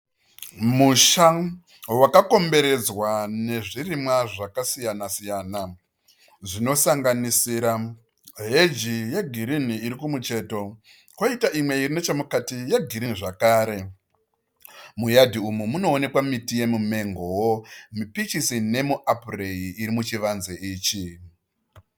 Musha wakakomberedzwa nezvirimwa zvakasiyanasiyana, zvinosanganisira heji yegirini iri kumucheto kwoita imwe iri nechomukati yegirini zvakare. Muyadhi umu munoonekwa miti yomumengowo, mupichisi nomuapuri iri muchivanze ichi.